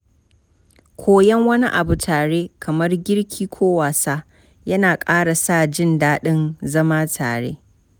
Koyon wani abu tare, kamar girki ko wasa, na ƙara sa jin daɗin zama tare.